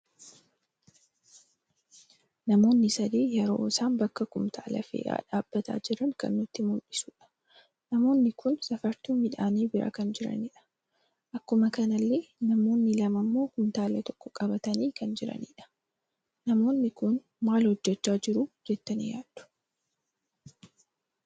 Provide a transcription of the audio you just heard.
Namoonni sadii yeroo isaan bakka kumtaala fe'aan dhaabbata jiran kan nutti muldhisudha. Namoonni kun safartuu miidhani bira kan jiranidha. Akkuma kanallee namoonni lama immo kumtaala tokko qabatani kan jiranidha. Namoonni kun maal hojjecha jiru jettani yaaddu?